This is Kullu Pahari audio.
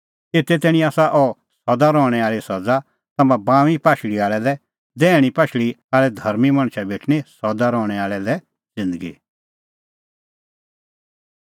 एते तैणीं आसा अह सदा रहणैं आल़ी सज़ा तम्हां बाऊंईं पाशल़ी आल़ै लै दैहणीं पाशल़ी आल़ै धर्मीं मणछा भेटणीं सदा रहणैं आल़ी लै ज़िन्दगी